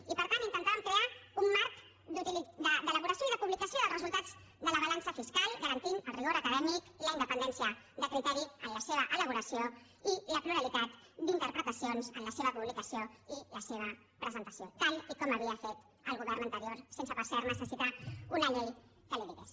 i per tant intentàvem crear un marc d’elaboració i de publicació dels resultats de la balança fiscal garantint el rigor acadèmic la independència de criteri en la seva elaboració i la pluralitat d’interpretacions en la seva publicació i la seva presentació tal com havia fet el govern anterior sense per cert necessitar una llei que li ho digués